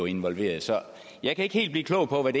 involveret så jeg kan ikke helt blive klog på hvad